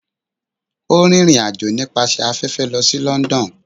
O rin irín ajọ nipasẹ afẹfẹ lo si London.